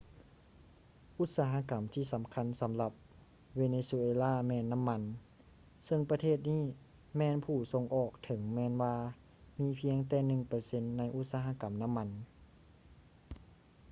ອຸດສາຫະກຳທີ່ສຳຄັນສຳລັບເວເນຊູເອລາແມ່ນນໍ້າມັນ ເຊິ່ງປະເທດນີ້ແມ່ນຜູ້ສົ່ງອອກ ເຖິງແມ່ນວ່າມີພຽງແຕ່ໜຶ່ງເປີເຊັນໃນອຸດສະຫະກຳນໍ້າມັນ